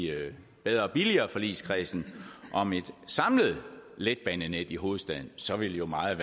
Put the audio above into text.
bedre og billigere forligskredsen om et samlet letbanenet i hovedstaden så ville meget